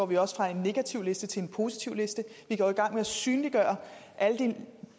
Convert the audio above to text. vi også fra en negativliste til en positivliste vi går i gang med at synliggøre alle de